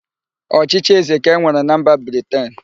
Ọchịchị ézē ka e nwere na mba Briten.